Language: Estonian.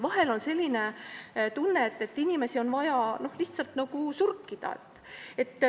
Vahel on selline tunne, et inimesi on vaja lihtsalt nagu surkida.